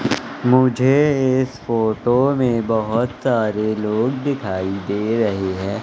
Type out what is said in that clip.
मुझे इस फोटो में बहोत सारे लोग दिखाई दे रहे है।